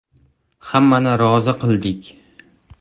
Hammani rozi qildik.